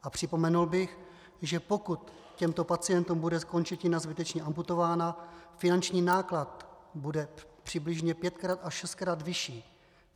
A připomenul bych, že pokud těmto pacientům bude končetina zbytečně amputována, finanční náklad bude přibližně pětkrát až šestkrát vyšší.